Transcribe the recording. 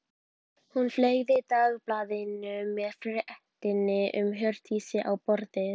Hún fleygði dagblaðinu með fréttinni um Hjördísi á borðið.